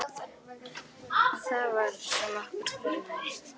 Og það var sem okkur grunaði.